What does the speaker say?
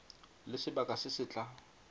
le sebaka se se tla